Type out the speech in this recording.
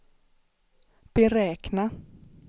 beräkna